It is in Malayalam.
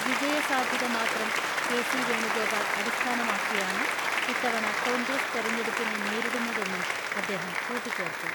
വിജയസാധ്യതമാത്രം കെ.സി.വേണുഗോപാൽ അടിസ്ഥാനമാക്കിയാണ് ഇത്തവണ കോൺഗ്രസ് തെരഞ്ഞെടുപ്പിനെ നേരിടുന്നതെന്നും അദ്ദേഹം കൂട്ടിച്ചേർത്തു.